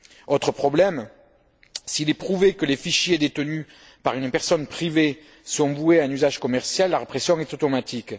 Autre problème s'il est prouvé que les fichiers détenus par une personne privée sont voués à un usage commercial, la répression est automatique.